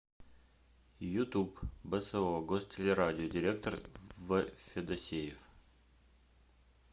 ютуб бсо гостелерадио директор в федосеев